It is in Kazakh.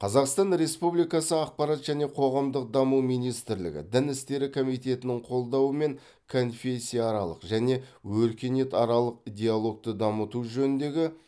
қазақстан республикасы ақпарат және қоғамдық даму министрлігі дін істері комитетінің қолдауымен конфессияаралық және өркениетаралық диалогты дамыту жөніндегі